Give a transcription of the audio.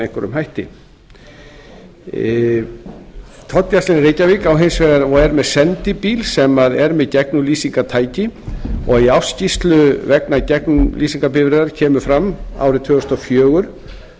einhverjum hætti tollgæslan í reykjavík á hins vegar og er með sendibíl sem sem er með gegnumlýsingartæki og í ársskýrslu vegna gegnumlýsingarbifreiðar kemur fram árið tvö þúsund og fjögur með leyfi